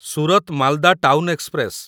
Surat Malda town express